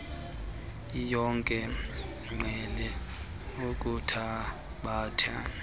iyonke iqhele ukuthabatha